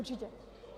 Určitě.